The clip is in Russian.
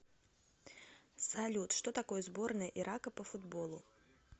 салют что такое сборная ирака по футболу